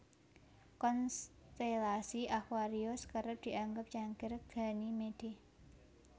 Konstelasi aquarius kerep dianggep cangkir Ganymede